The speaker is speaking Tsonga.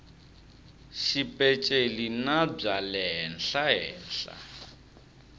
xipeceli na bya le henhlahenhla